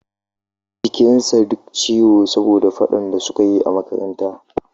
Jikin sa duk ciwo saboda faɗan da suka yi a makaranta